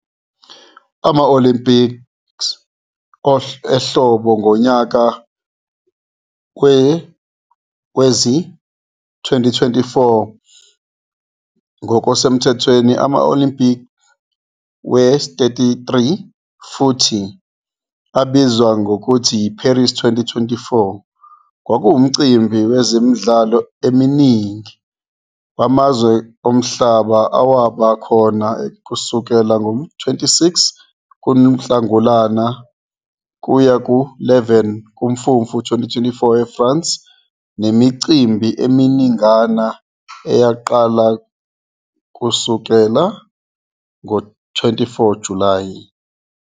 Ama-Olympics ehlobo ngonyaka wezi-2024 ngokusemthethweni ama-Olympiad we-XXXIII futhi abizwa ngokuthi yi-IParis 2024, kwakuwUmcimbi wezemidlalo eminingi wamazwe omhlaba owaba khona kusukela ngo-26 kuNhlangulana kuya ku-11 kuMfumfu 2024 IFrance, nemicimbi eminingana eyaqala kusukela ngo-24 July.